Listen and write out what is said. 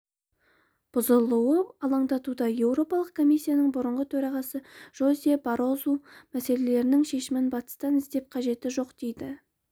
бұзылуы алаңдатуда еуропалық комиссияның бұрынғы төрағасы жозе баррозу мәселенің шешімін батыстан іздеп қажеті жоқ дейді